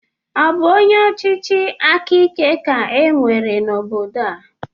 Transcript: Ọ bụ onye ọchịchịakaike ka e nwere n'obodo a?